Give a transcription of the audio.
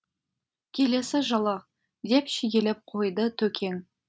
келесі жылы деп шегелеп қойды төкең